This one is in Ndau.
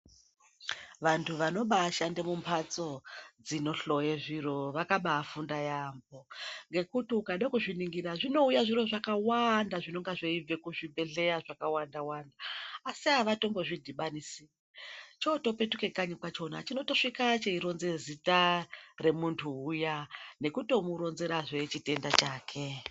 Vantu vanobaashanda mumhatso dzinohloye zviro vakabaafunda yaamho ngekuti ukada kuzviningira zvinouya zviro zvakawanda zvinenge zveibve kuzvibhedhlera zvakawanda wanda asi avatombozvidhibanisi, chitopetuka kanyi kwacho chinotosvika cheironza zita remuntu uya nekutomuronzera zvee chitenda chake ,.